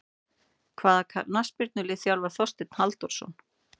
Hvaða knattspyrnulið þjálfar Þorsteinn Halldórsson?